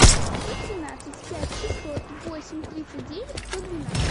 сто тринадцать пять шестьсот восемь тридцать девять сто двенадцать